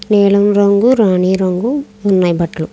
నీలం రంగు రాణి రంగు ఉన్నాయి బట్టలు.